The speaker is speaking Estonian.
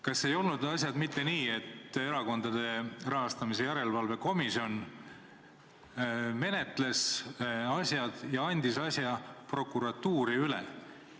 Kas ei olnud asjad mitte nii, et Erakondade Rahastamise Järelevalve Komisjon menetles seda ja andis asja prokuratuuri üle?